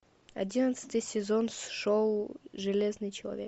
одиннадцатый сезон шоу железный человек